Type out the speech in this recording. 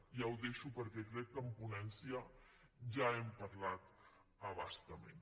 ja ho deixo perquè crec que en ponència ja n’hem parlat a bastament